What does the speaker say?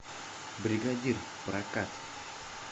бригадир прокат